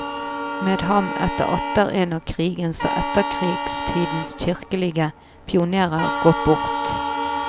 Med ham er atter en av krigens og etterkrigstidens kirkelige pionérer gått bort.